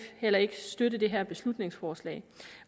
heller ikke støtte det her beslutningsforslag